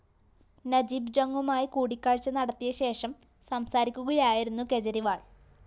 നജീബ് ജങുമായി കൂടിക്കാഴ്ച നടത്തിയ ശേഷം സംസാരിക്കുകയായിരുന്നു കേജ്‌രിവാള്‍